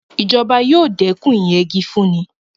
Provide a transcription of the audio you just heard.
Ìjọba yóò dẹ́kun ìyẹgi fúnni.